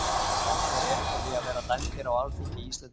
Við áttum rétt á því að vera dæmdir á alþingi Íslendinga.